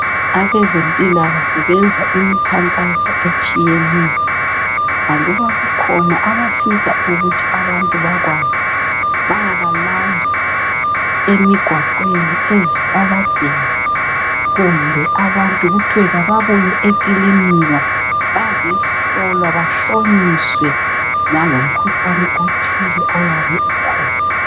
abezempilakahle benza imkhankaso etshiyeneyo aluba kukhona abafisa ukuthi abantu bakwazi bayabalanda emgwaqweni ezitaladeni kumbe abantu kuthwe kababuye ekilinika bazehlolwa bahlonyiswe langomkhuhlane othile oyabe ukhona